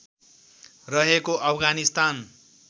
रहेको अफगानिस्तान